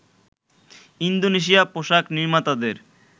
Indonesia পোশাক নির্মাতাদের